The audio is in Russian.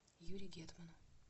юре гетману